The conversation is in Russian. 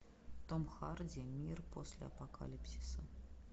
том харди мир после апокалипсиса